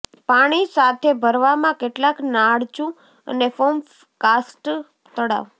પાણી સાથે ભરવામાં કેટલાક નાળચું અને ફોર્મ કાર્સ્ટ તળાવ